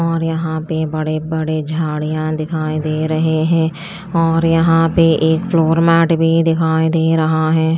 और यहां पे बड़े बड़े झाड़ियां दिखाई दे रहे है और यहां पे एक फ्लोर मैट भी दिखाई दे रहा है।